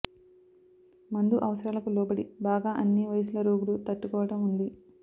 మందు అవసరాలకు లోబడి బాగా అన్ని వయసుల రోగులు తట్టుకోవడం ఉంది